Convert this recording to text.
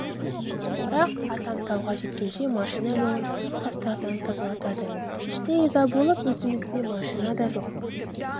бірақ атам тауға жеткенше машина жолын тастардан тазалатады іштей ыза болып өзімізде машина да жоқ